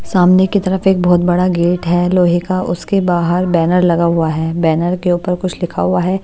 सामने की तरफ एक बहुत बड़ा गेट है लोहे का उसके बाहर बैनर लगा हुआ है बैनर के ऊपर कुछ लिखा हुआ है ।